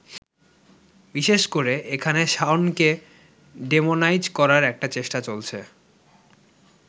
বিশেষ করে এখানে শাওনকে ডেমোনাইজ করার একটা চেষ্টা চলছে।